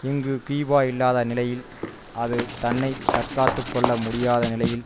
இங்கு கியூபா இல்லாத நிலையில் அது தன்னை தற்காத்து கொள்ள முடியாத நிலையில்